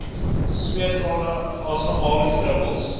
sweet trane asemhalingsdruppels